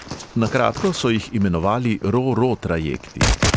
Na kratko so jih imenovali ro-ro trajekti.